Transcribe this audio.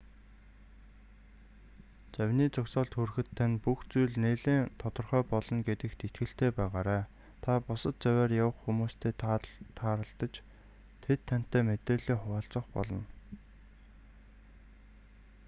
завины зогсоолд хүрэхэд тань бүх зүйл нэлээн тодорхой болно гэдэгт итгэлтэй байгаарай та бусад завиар явах хүмүүстэй тааралдаж тэд тантай мэдээллээ хуваалцах болно